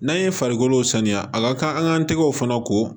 N'an ye farikolo sanuya a ka kan an k'an tɛgɛw fana ko